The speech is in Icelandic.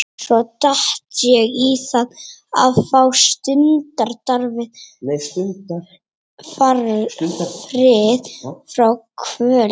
Svo datt ég í það til að fá stundarfrið frá kvölinni.